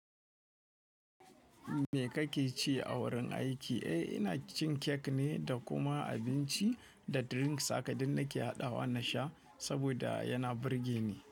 Me kake ci a wurin aiki? Eh, ina cin kek ne da kuma abinci da drink sake ɗin nake haɗawa na sha saboda yana burge ni.